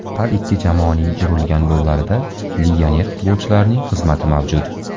Har ikki jamoaning urilgan gollarida legioner futbolchilarning xizmati mavjud.